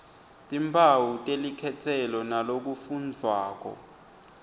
timphawu telikhetselo nalokufundvwako